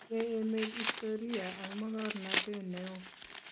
Tinyei emet istoria ak mokornotee ne oo.